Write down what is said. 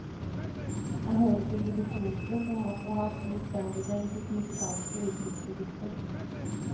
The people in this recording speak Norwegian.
Han hører til de virtuose som også har stor spennvidde i sitt musikalske uttrykksregister.